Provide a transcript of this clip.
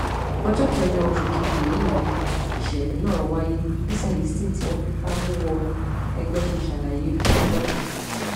ọjọ kẹjọ oṣù keje yìí nìṣẹlẹ náà wáyé bí celestine tí wọn fipá mú wọ ẹgbẹ ṣe ṣàlàyé fáwọn ọlọpàá